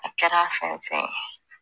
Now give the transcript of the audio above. A kɛra fɛn wo fɛn ye.